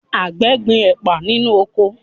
Àgbẹ̀ ń gbin ẹ̀pà nínú oko